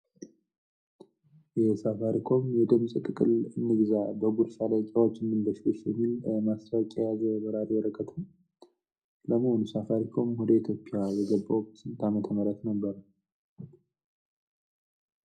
የሳፋሪኮም የድምፅ ጥቅል እንግዛ፣ በጉርሻ ደቂቃዎች እንበሽበሽ የሚል ማስታወቂያ የበራሪ ወረቀት ነው። ለመሆኑ ሳፋሪኮም ወደ ኢትዮጵያ የገባው በስንት አመተ ምህረት ነበረ?